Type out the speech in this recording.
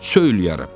söyləyərəm.